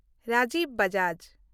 Rajiv Bajaj